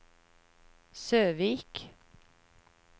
Søvik